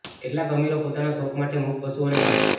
કેટલાક અમીરો પોતાના શોખ માટે મૂક પશુઓને મારે છે